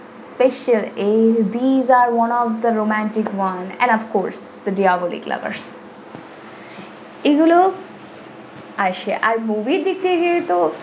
special a this are one of the romantic one and of course diabolic lover এগুলো আসে আর movie এর দিক থেকে তো।